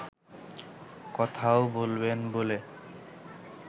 কথাও বলবেন বলে